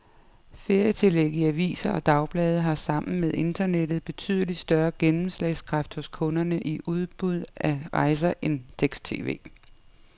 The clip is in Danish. Ferietillæg i aviser og dagblade har sammen med internettet betydelig større gennemslagskraft hos kunderne i udbud af rejser end tekst-tv.